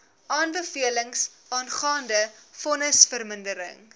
aanbevelings aangaande vonnisvermindering